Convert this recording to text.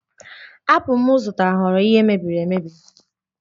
Apụl m zụtara ghọrọ ihe mebiri emebi